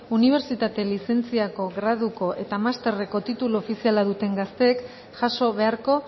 unibertsitate lizentziako graduko eta masterreko titulu ofiziala duten gazteek jaso beharko